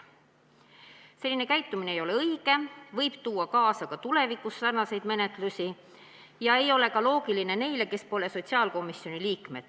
Selline käitumine ei ole õige, see võib tuua ka tulevikus kaasa sarnaseid menetlusi ega ole loogiline ka nende arvates, kes pole sotsiaalkomisjoni liikmed.